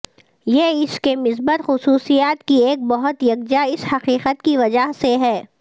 یہ اس کے مثبت خصوصیات کی ایک بہت یکجا اس حقیقت کی وجہ سے ہے